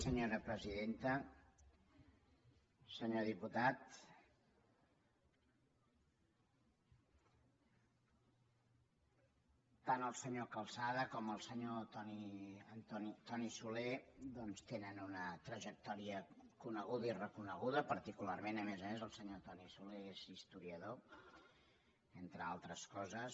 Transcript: senyor diputat tant el senyor calzada com el senyor toni soler doncs tenen una trajectòria coneguda i reconeguda particularment a més a més el senyor toni soler és historiador entre altres coses